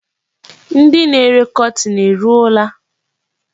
Ndị na-ere kọtin eruola?